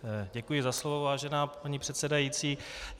Děkuji za slovo, vážená paní předsedající.